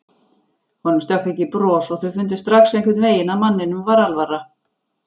Honum stökk ekki bros og þau fundu strax einhvern veginn að manninum var alvara.